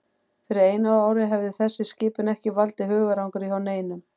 Fyrir einu ári hefði þessi skipun ekki valdið hugarangri hjá neinum.